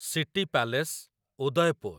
city palace , Udaipur